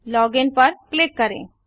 login पर click करें